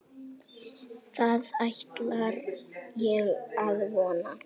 Það ætla ég að vona.